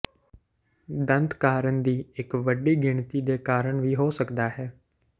ਦੰਦ ਕਾਰਨ ਦੀ ਇੱਕ ਵੱਡੀ ਗਿਣਤੀ ਦੇ ਕਾਰਨ ਵੀ ਹੋ ਸਕਦਾ ਹੈ